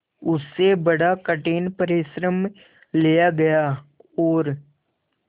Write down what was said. उससे बड़ा कठिन परिश्रम लिया गया और